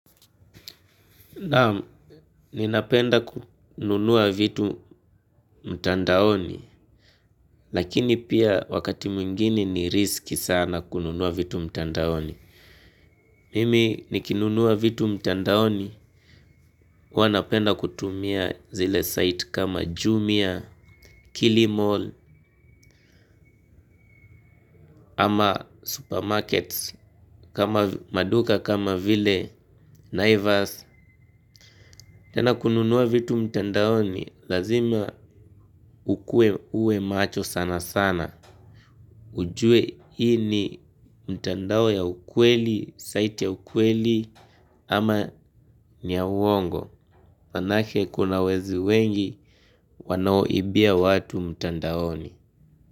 Nam, ninapenda kununua vitu mtandaoni, lakini pia wakati mwingini ni risiki sana kununua vitu mtandaoni. Mimi, nikinunua vitu mtandaoni, huwanapenda kutumia zile site kama Jumia, Kili Mall, ama supermarkets, maduka kama vile Nivers. Tena kununuwa vitu mtandaoni, lazima ukue ue macho sana sana. Ujue hii ni mtandao ya ukweli, site ya ukweli, ama ni ya uongo. Manake kuna wezi wengi, wanaoibia watu mtandaoni.